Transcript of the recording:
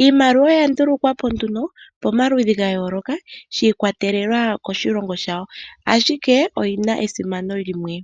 Iimaliwa oya ndulukwa po nduno pamaludhi gayooloka shiikwatelela koshilongo shawo ashike oyina esimano limwe.